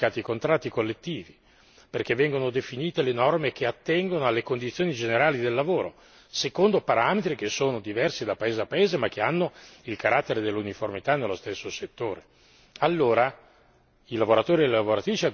che riguarda la dignità del lavoro, perché vengono applicati i contratti collettivi, perché vengono definite le norme che attengono alle condizioni generali del lavoro, secondo parametri che sono diversi da paese a paese, ma che hanno il carattere dell'uniformità nello stesso settore.